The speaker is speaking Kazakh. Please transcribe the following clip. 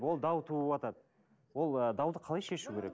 ол дау туыватады ол ы дауды қалай шешу керек